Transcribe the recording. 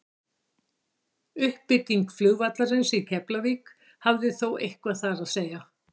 uppbygging flugvallarins í keflavík hafði þó eitthvað þar að segja